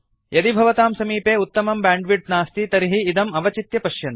यदि भवतां समीपे उत्तमं ब्यांड्विड्त् नास्ति तर्हि इदम् अवचित्य पश्यन्तु